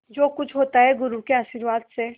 जो कुछ होता है गुरु के आशीर्वाद से